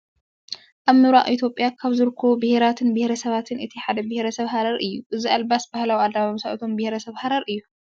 ኣብ ምብራቅ ኢትዮጵያ ካብ ዝርከቡ ብሄራትን ብሄረሰባትን እቲ ሓደ ብሄረሰብ ሃረር እዩ። እዚ ኣለባብሳ ባህላዊ ኣለባብሳ እቶም ብሄረሰብ ሃረር እዩ።